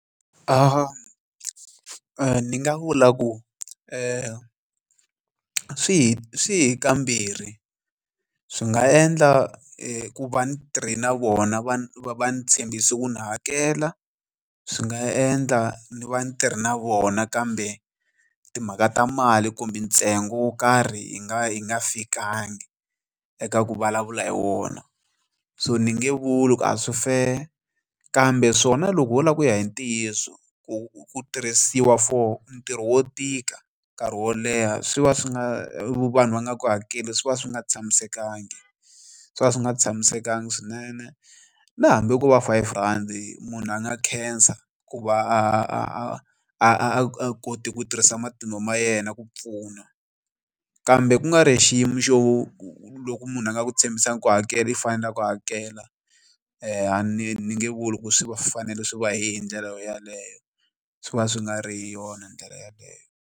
Ni nga vula ku ri swi swi hi kambirhi swi nga endla hikuva ni tirhi na vona va va ni tshembisi ku ni hakela, swi nga endla ni va ni tirha na vona kambe timhaka ta mali kumbe ntsengo wo karhi hi nga fikangi eka ku vulavula hi wona. So ni nge vuli ku a swi fair kambe swona loko ho lava ku ya hi ntiyiso ku tirhisiwa for ntirho wo tika nkarhi wo leha swi va swi nga vanhu va nga ku hakeli swi va swi nga tshamisekanga swi va swi nga tshamisekanga swinene. Na hambi ko va five rand munhu a nga khensa ku va a a kote ku tirhisa matimba ma yena ku pfuna, kambe kungari hi xiyimo xo loko munhu a nga ku tshembisangi ku hakela i fanele ku hakela, a ni nge vuli ku swi fanele swi va hi ndlela yaleyo swi va swi nga ri hi yona ndlela yaleyo.